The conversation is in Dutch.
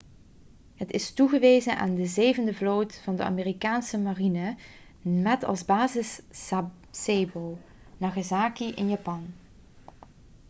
het is toegewezen aan de zevende vloot van de amerikaanse marine met als basis sasebo nagasaki in japan